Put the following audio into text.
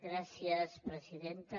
gràcies presidenta